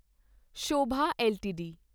Sobha LTD